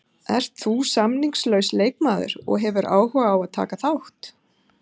Ert þú samningslaus leikmaður og hefur áhuga á að taka þátt?